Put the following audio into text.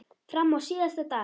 Fram á síðasta dag.